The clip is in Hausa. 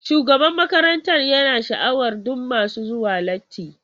Shugaban makarantar yana sha'awar dukan masu zuwa latti.